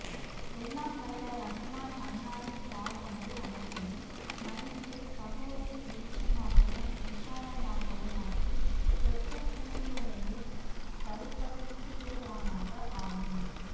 எல்லாம் வல்ல ரஹ்மான் அன்னாரின் பாவங்கள் அனைத்தையும் மன்னித்து கபூரை வெளிச்சமாகவும் விஷாலமாகவும் ஆக்கி சொர்க்க பூஞ்சோலையில் தரிபடுத்திடுவானாக ஆமீன்